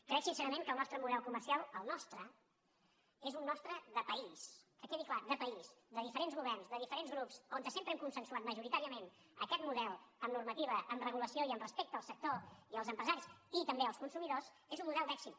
crec sincerament que el nostre model comercial el nostre és un nostre de país que quedi clar de país de diferents governs de diferents grups on sempre hem consensuat majoritàriament aquest model amb normativa amb regulació i amb respecte al sector i als empresaris i també als consumidors és un model d’èxit